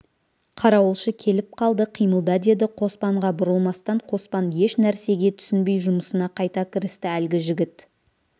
қарауылшы келіп қалды қимылда деді қоспанға бұрылмастан қоспан еш нәрсеге түсінбей жұмысына қайта кірісті әлгі жігіт